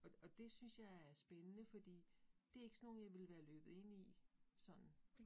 Og og det synes jeg er spændende, fordi det ikke sådan nogle, jeg ville være løbet ind i, sådan